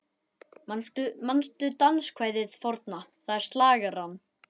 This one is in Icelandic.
Manstu danskvæðið forna, það er slagarann